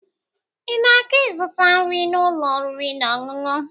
Ị na-aga ịzụta nri n'ụlọ oriri na ọṅụṅụ?